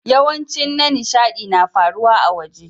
Yawancin na nishadi na faruwa a'waje.